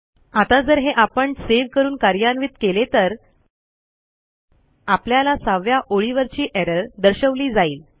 आता जर हे आपण सेव्ह करून कार्यान्वित केले तर आपल्याला 6 व्या ओळीवरची एरर दर्शवली जाईल